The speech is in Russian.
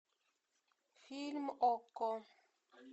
фильм окко